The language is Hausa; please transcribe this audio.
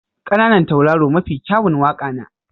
ƙananan tauraro mafi kyawun waƙa na.